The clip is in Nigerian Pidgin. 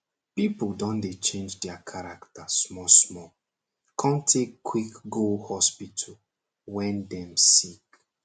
pipo don dey change their character smallsmall com take quick go hospital wen dem sick